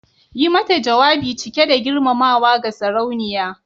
Yi mata jawabi cike da girmamawa ga Sarauniya